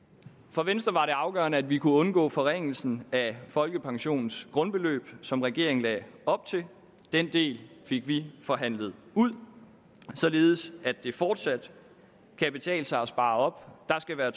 for venstre var det afgørende at vi kunne undgå den forringelse af folkepensionens grundbeløb som regeringen lagde op til den del fik vi forhandlet ud således at det fortsat kan betale sig at spare op der skal være